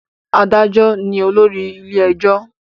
Adájọ ní olórí ilé ẹjọ́